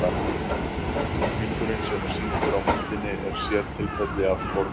Hringurinn sem er sýndur á myndinni er sértilfelli af sporbaug.